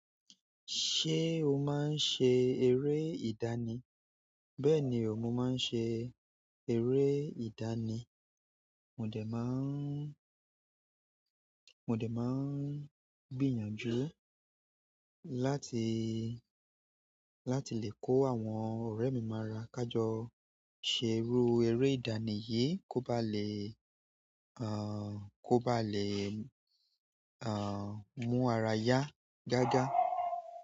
Ṣé o máa ń ṣe eré ìdánì? Bẹ́ẹ̀ni, mo máa ń ṣe eré ìdánì. Mo dè máa ń, mo dè máa ń gbìyànjú láti, láti lè kọ́ àwọn ọ̀rẹ́ mi mara ká jọ ṣe irú eré ìdánì yìí kó ba lè, ẹ́, kó bá lè, ẹ́, mú ara yá gágá.